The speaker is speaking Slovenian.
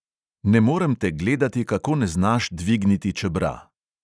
Ne morem te gledati, kako ne znaš dvigniti čebra.